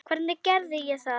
Hvernig gerði ég það?